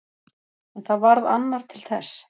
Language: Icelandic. En það varð annar til þess.